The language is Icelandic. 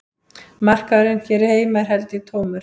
Markaðurinn hér heima er held ég tómur